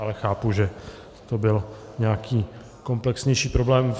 Ale chápu, že to byl nějaký komplexnější problém.